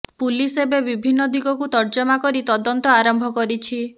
police ଏବେ ବିଭିନ୍ନ ଦିଗକୁ ତର୍ଜମା କରି ତଦନ୍ତ ଆରମ୍ଭ କରିଛି